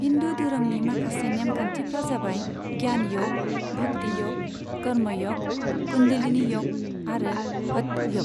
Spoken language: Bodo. हिन्दू धोरोमनि माखासे नेमखान्थिफ्रा जाबाय ज्ञान य'ग, भक्ति य'ग, कर्म य'ग, कुंडलिनी य'ग आरो हठ य'ग।